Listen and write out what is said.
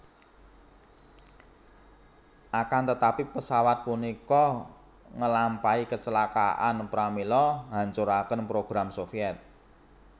Akantetapi pesawat punika ngelampahi kecelakaan pramila nghancurkan program Soviet